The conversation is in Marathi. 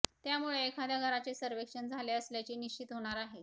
त्यामुळे एखाद्या घराचे सर्वेक्षण झाले असल्याचे निश्चित होणार आहे